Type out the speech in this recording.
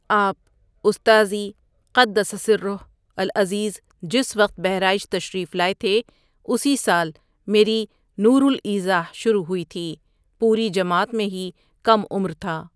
آپ استاذی قدس سرہٗ العزیز جس وقت بہرائچ تشریف لائے تھے، اسی سال میری نور الایضاح شروع ہوئی تھی، پوری جماعت میں ہی کم عمر تھا۔